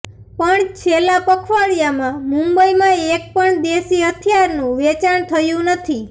પણ છેલ્લા પખવાડિયામાં મુંબઈમાં એક પણ દેશી હથિયારનું વેચાણ થયું નથી